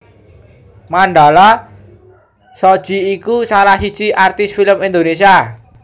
Mandala Shoji iku salah siji artis film Indonesia